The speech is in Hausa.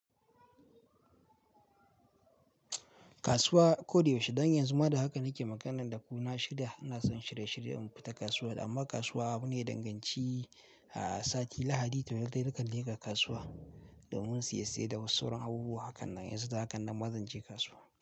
Kasuwa ko da yaushe, don yanzu ma da haka nake magana da ku na shirya, ina son shirye-shirye in fita kasuwa. Amma kasuwa abu ne daya dan ganci. A sati Lahadi, to yakai dai na kan leƙa kasuwa domin siye-saye da wasu sauran abubuwa ha kan nan yanzu, da ha kan nan ma zanje kasuwa.